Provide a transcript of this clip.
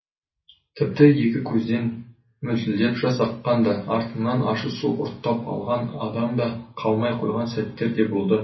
тіпті екі көзден мөлтілдеп жас аққан да артымнан ащы су ұрттап алған адам да қалмай қойған сәттер де болды